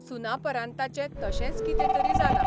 सुनापरान्ताचें तशेंच कितें तरी जालां.